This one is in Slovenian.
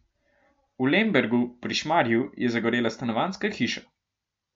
V Lembergu pri Šmarju je zagorela stanovanjska hiša.